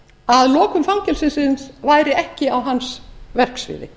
að lokun fangelsisins væri ekki á hans verksviði